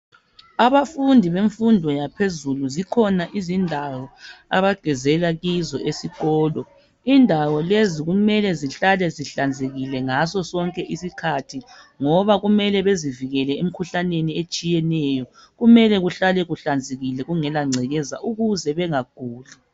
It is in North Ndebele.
Abafundi bemfundo yaphezulu zikhona izindawo abagezela kizo esikolo. Indawo lezi kumele zihlale zihlanzekile ngaso sonke isikhathi ngoba kumele bezivikele emikhuhlaneni etshiyeneyo. Kumele kuhlale kuhlanzekile kungela ngcekeza ukuze bengaguli.